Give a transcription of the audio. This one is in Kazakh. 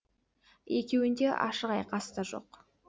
екеуінде ашық айқас та жоқ